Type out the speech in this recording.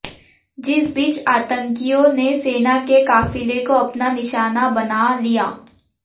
जिस बीच आतंकियों ने सेना के काफिले को अपना निशाना बना लिया